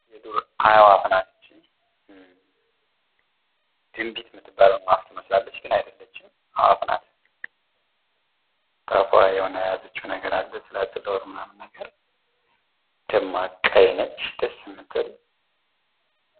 የዱር አእላፍ ናት ይቺ። ድንቢጥ የምትባለውን ትመስላለች። ግን አይደለችም። አእዋፍ ናት። በአፏ የሆነ የያዘችው ነገር አለ የሆነ ትላትል ኦር ምናምን ነገር። ደማቅ ቀይ ነች ደስ የምትል።